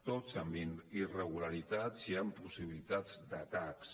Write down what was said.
tots amb irregularitats i amb possibilitats d’atacs